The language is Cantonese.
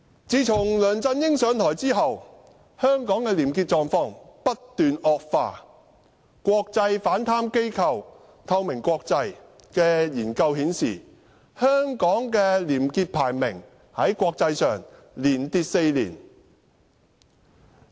自從梁振英上台後，香港的廉潔狀況不斷惡化，國際反貪機構"透明國際"的研究顯示，香港的國際廉潔排名連跌4年。